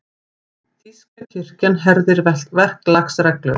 Þýska kirkjan herðir verklagsreglur